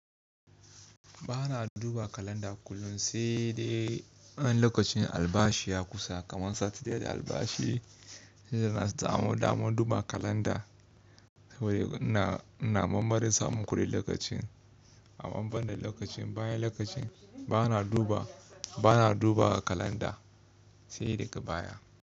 Ba na duba kalanda kullum sai dai an lokacin albashi ya kusa kamar Sati ɗaya da albashi suna samo damar duba kalanda. Na mambar samun kuɗin lokacin a ban da lokacin bayan lokacin ba na duba, ba na duba kalanda sai daga baya.